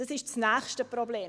Das ist das nächste Problem: